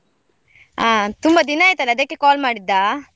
ಹಾ ತುಂಬಾ ದಿನ ಆಯ್ತಲ್ಲ ಅದಕ್ಕೆ call ಮಾಡಿದ್ದ?